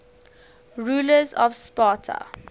rulers of sparta